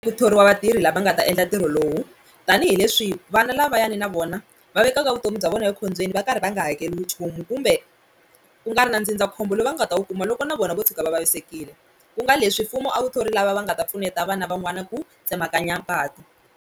Ku thoriwa vatirhi lava nga ta endla ntirho lowu tanihileswi vana lavayani na vona va vekaka vutomi bya vona ekhombyeni va karhi va nga hakeriwi nchumu kumbe ku nga ri na ndzindzakhombo lowu va nga ta wu kuma loko na vona vo tshuka va vavisekile ku nga leswi mfumo a wu thori lava va nga ta pfuneta vana van'wana ku tsemakanya patu.